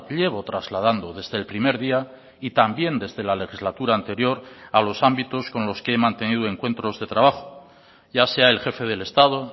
llevo trasladando desde el primer día y también desde la legislatura anterior a los ámbitos con los que he mantenido encuentros de trabajo ya sea el jefe del estado